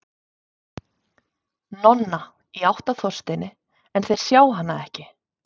Nonna, í átt að Þorsteini, en þeir sjá hana ekki.